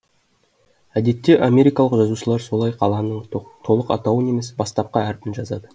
әдетте америкалық жазушылар солай қаланың толық атауын емес бастапқы әрпін жазады